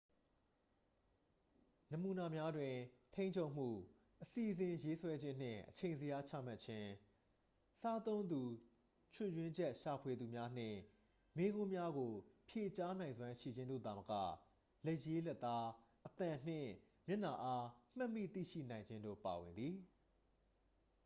နမူနာများတွင် ထိန်းချုပ်မှု အစီအစဉ်ရေးဆွဲခြင်းနှင့် အချိန်ဇယားချမှတ်ခြင်း စားသုံးသူ ချွတ်ယွင်းချက်ရှာဖွေမှုများနှင့် မေးခွန်းများကို ဖြေကြားနိုင်စွမ်းရှိခြင်းတို့သာမက လက်ရေးလက်သား အသံနှင့် မျက်နှာအား မှတ်မိသိရှိနိုင်ခြင်းတို့ ပါဝင်သည်